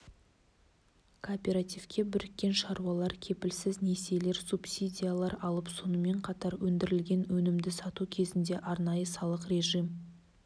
кооперативке біріккен шаруалар кепілсіз несиелер субсидиялар алып сонымен қатар өндірілген өнімді сату кезінде арнайы салық режим